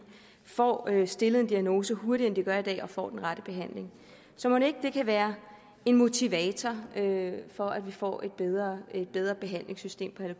får stillet en diagnose hurtigere end de gør i dag og de får den rette behandling så mon ikke det kan være en motivator for at vi får et bedre et bedre behandlingssystem